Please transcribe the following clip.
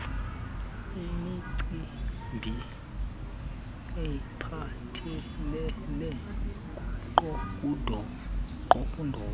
imicimbi ephathelele kundoqo